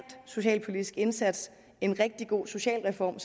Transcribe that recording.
socialpolitisk indsats en rigtig god socialreform